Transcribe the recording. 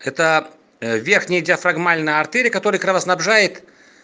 это верхняя диафрагмальная артерия которая кровоснабжает